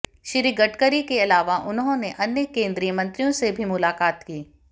श्री गडकरी के अलावा उन्होंने अन्य केंद्रीय मंत्रियों से भी मुलाकात की